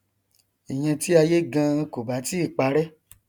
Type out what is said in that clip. ìyẹn tí ayé ganan kò bá tíì parẹ